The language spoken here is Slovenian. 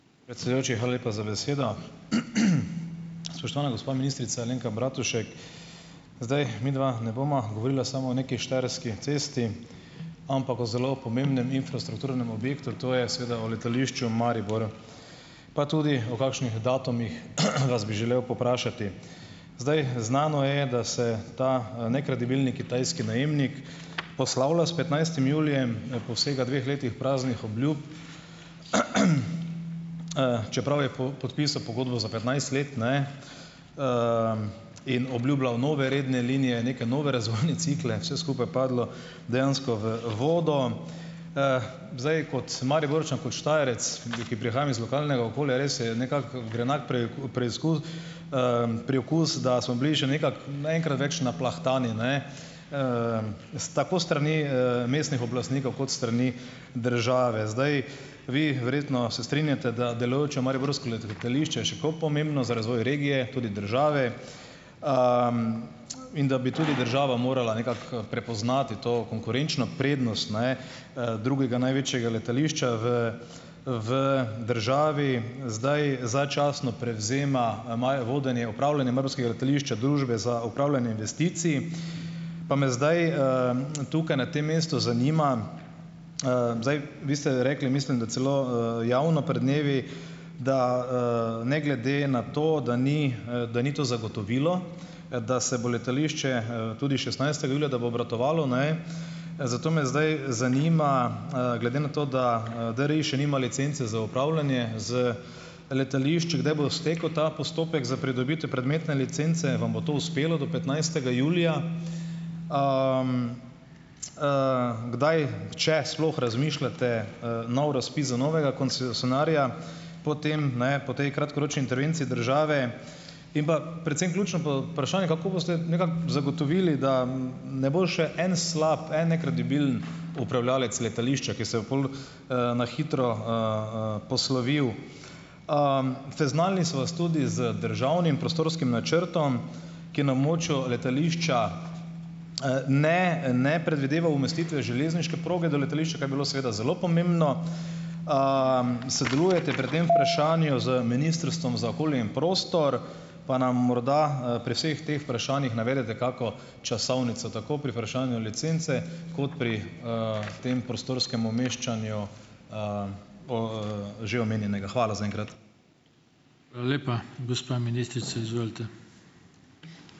Predsedujoči, hvala lepa za besedo. Spoštovana gospa ministrica Alenka Bratušek, zdaj midva ne bova govorila samo o nekaj štajerski cesti, ampak o zelo pomembnem infrastrukturnem objektu, to je seveda o letališču Maribor, pa tudi o kakšnih datumih vas bi želel povprašati. Zdaj, znano je, da se ta, nekredibilni kitajski najemnik poslavlja s petnajstim julijem po vsega dveh letih praznih obljub, čeprav je podpisal pogodbo za petnajst let, ne, in obljubljal nove redne linije, neke nove razvojne cikle. Vse skupaj padlo dejansko v vodo. zdaj, kot Mariborčan, kot Štajerec, in di ki prihajam iz lokalnega okolja, res je, nekako grenak preizkus, priokus da smo bili še nekako, ne, enkrat več naplahtani, ne, s tako s strani, mestnih oblastnikov kot s strani države zdaj. Vi verjetno se strinjate, da delujoče mariborsko letališče je še koliko pomembno za razvoj regije, tudi države, in da bi tudi država morala nekako prepoznati to konkurenčno prednost, ne, drugega največjega letališča v v državi. Zdaj, začasno prevzema maja vodenje upravljanje mariborskega letališča Družba za upravljanje investicij. Pa me zdaj, tukaj na tem mestu zanima, zdaj vi ste rekli mislim, da celo, javno pred dnevi, da, ne glede na to, da ni, da ni to zagotovilo, da se bo letališče, tudi šestnajstega julija, da bo obratovalo, ne, zato me zdaj zanima, glede na to, da, DRI še nima licence za upravljanje z letališčem, kdaj bo stekel ta postopek za pridobitev prometne licence. Vam bo to uspelo od petnajstega julija? Kdaj, če sploh razmišljate, nov razpis za novega koncesionarja po tem, ne, po tej kratkoročni intervenciji države? In pa, predvsem ključno vprašanje, kako boste nekako zagotovili, da ne bo še en slab, en nekredibilen upravljavec letališča, ki se bo pol, na hitro, poslovil? Seznanili so vas tudi z državnim prostorskim načrtom, ki na območju letališča, ne ne predvideva umestitve železniške proge do letališča, kar bi bilo seveda zelo pomembno, sodelujete pri tem vprašanju z Ministrstvom za okolje in prostor, pa nam morda, pri vseh teh vprašanjih navedete kako časovnico, tako pri vprašanju licence kot pri, tem prostorskem umeščanju, že omenjenega. Hvala zaenkrat.